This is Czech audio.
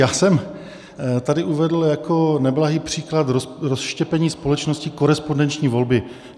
Já jsem tady uvedl jako neblahý příklad rozštěpení společnosti korespondenční volby.